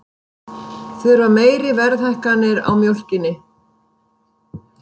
Þurfa meiri verðhækkanir á mjólkinni